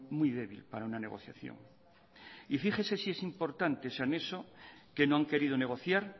muy débil para una negociación y fíjese si es importante ese anexo que no han querido negociar